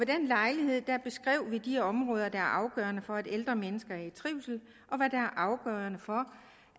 den lejlighed beskrev vi de områder der er afgørende for at ældre mennesker er i trivsel og hvad der er afgørende for